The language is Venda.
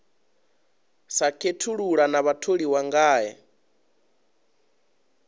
sa khethulula na vhatholiwa ngae